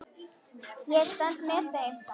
Ég stend með þeim.